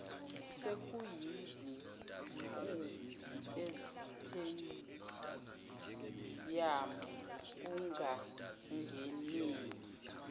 sekuyizinkumbi esitediyamu kungangeneki